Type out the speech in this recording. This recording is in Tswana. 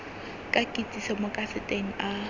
ka kitsiso mo kaseteng a